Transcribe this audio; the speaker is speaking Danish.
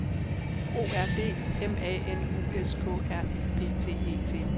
O R D M A N U S K R I P T E T